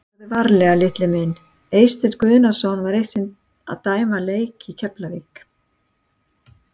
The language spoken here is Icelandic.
Farðu varlega litli minn Eysteinn Guðmundsson var eitt sinn að dæma leik í Keflavík.